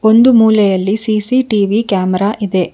ಒಂದು ಮೂಲೆಯಲ್ಲಿ CCTV camera ಇದೆ.